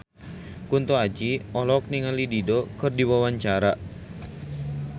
Kunto Aji olohok ningali Dido keur diwawancara